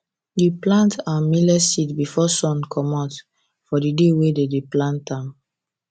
we plant our millet seed before sun comot for di day wey dem dey plant am